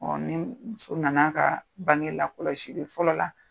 ni muso nana a ka bange lakɔsili fɔlɔ la.